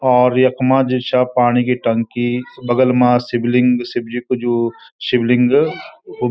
और यख्मा जू छा पाणी की टंकी बगल मा शिवलिंग शिवजी कु जू शिवलिंग वू --